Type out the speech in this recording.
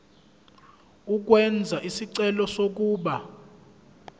ukwenza isicelo sokuba